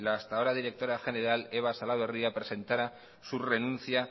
la hasta ahora directora general eva salaberria presentara su renuncia